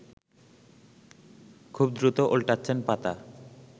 খুব দ্রুত ওল্টাচ্ছেন পাতা